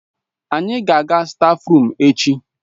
Anyị ga-aga na stáfruum echi.